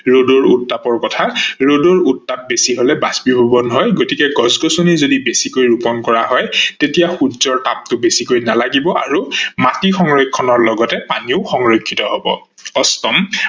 ৰদৰ উত্তাপ কথা, ৰদৰ উত্তাপ বেছি হলে বাষ্পীভৱন হয় গতিকে গছ-গছনি যদি বেছিকে ৰুপন কৰা হয় তেতিয়া সূৰ্যৰ তাপটো বেছিকৈ নালাগিব আৰু মাটি সংৰক্ষনৰ লগতে পানীও সংৰক্ষিত হব। অষ্টম